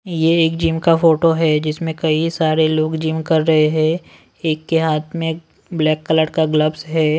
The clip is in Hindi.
ये एक जिम का फोटो है जिसमें कई सारे लोग जिम कर रहे हैं एक के हाथ में ब्लैक कलर का ग्लव्स है।